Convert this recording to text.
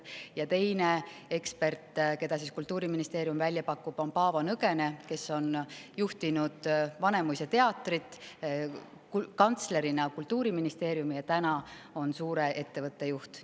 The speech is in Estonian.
Ja teine ekspert, keda Kultuuriministeerium välja pakub, on Paavo Nõgene, kes on juhtinud Vanemuise teatrit, kantslerina Kultuuriministeeriumi ja täna on suure ettevõtte juht.